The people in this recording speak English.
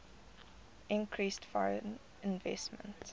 increased foreign investment